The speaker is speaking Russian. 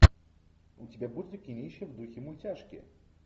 у тебя будет кинище в духе мультяшки